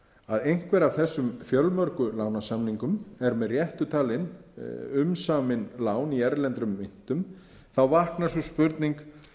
að einhver af þessu fjölmörgu lánasamningum er með réttu talin umsamin lán í erlendum myntum þá vaknar sú spurning